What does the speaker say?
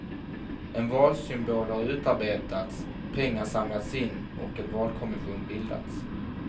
En valsymbol har utarbetats, pengar samlats in och en valkommission bildats.